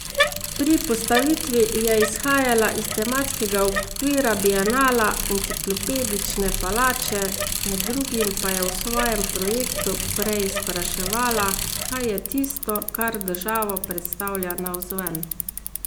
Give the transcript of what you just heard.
Pri postavitvi je izhajala iz tematskega okvira bienala Enciklopedične palače, med drugim pa je v svojem projektu preizpraševala, kaj je tisto, kar državo predstavlja navzven.